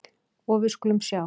Og við skulum sjá.